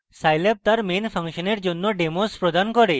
scilab তার সকল main ফাংশনের জন্য demos প্রদান করে